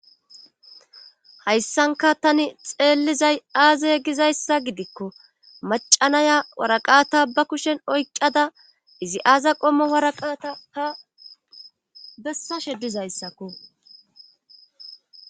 hayssanka tani xeellizay aaza gizayssa gidikko macanaya waraqata ba kushen oycada izi aaza qommo waraqata ha bessa shedizayssakko